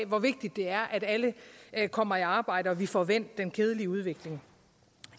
hvor vigtigt det er at alle alle kommer i arbejde og at vi får vendt den kedelige udvikling